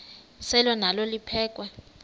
selwa nalo liphekhwe